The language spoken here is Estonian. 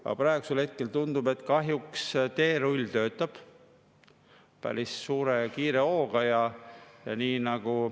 Aga praegusel hetkel tundub, et kahjuks töötab teerull päris suure ja kiire hooga.